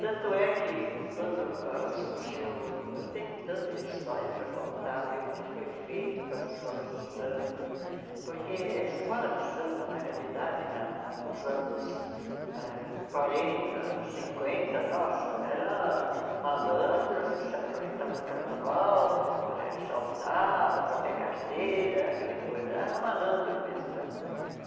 Tanto é que quando ah surgiu, tem tanta história para contar viu, o que foi feito com as escolas de samba, porque a escola de samba, na realidade, na na nos anos ah quarenta, cinquenta, nossa, eram malandros que se aproveitavam do carnaval para assaltar, para bater carteira, aquela coisa, era malandro mesmo, né?